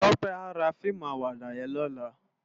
Tope à rá fiimú àwàdá yèn lòlá